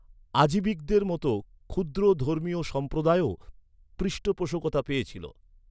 আজিবিকদের মতো ক্ষুদ্র ধর্মীয় সম্প্রদায়ও পৃষ্ঠপোষকতা পেয়েছিল।